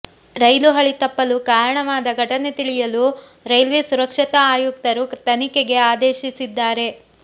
ರೈಲು ಹಳಿ ತಪ್ಪಲು ಕಾರಣವಾದ ಘಟನೆ ತಿಳಿಯಲು ರೈಲ್ವೆ ಸುರಕ್ಷತಾ ಆಯುಕ್ತರು ತನಿಖೆಗೆ ಆದೇಶಿಸಿದ್ದಾರೆ